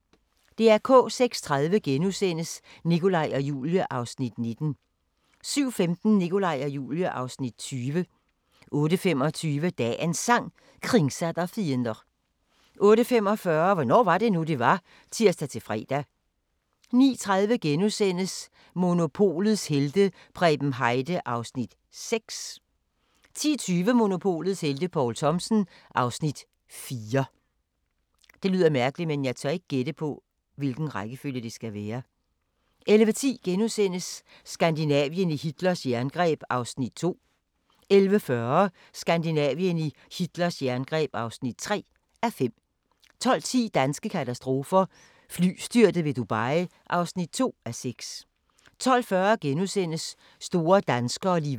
06:30: Nikolaj og Julie (Afs. 19)* 07:15: Nikolaj og Julie (Afs. 20) 08:25: Dagens Sang: Kringsatt av fiender 08:45: Hvornår var det nu, det var? (tir-fre) 09:30: Monopolets helte - Preben Heide (Afs. 6)* 10:20: Monopolets helte - Poul Thomsen (Afs. 4) 11:10: Skandinavien i Hitlers jerngreb (2:5)* 11:40: Skandinavien i Hitlers jerngreb (3:5) 12:10: Danske katastrofer – Flystyrtet ved Dubai (2:6) 12:40: Store danskere - Liva Weel *